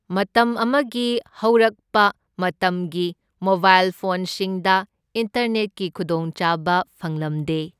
ꯃꯇꯝ ꯑꯃꯒꯤ ꯍꯧꯔꯛꯄ ꯃꯇꯝꯒꯤ ꯃꯣꯕꯥꯏꯜ ꯐꯣꯟꯁꯤꯡꯗ ꯏꯟꯇꯔꯅꯦꯠꯀꯤ ꯈꯨꯗꯣꯡꯆꯥꯕ ꯐꯪꯂꯝꯗꯦ꯫